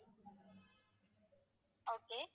okay